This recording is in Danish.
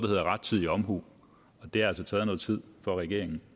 hedder rettidig omhu og det har altså taget noget tid for regeringen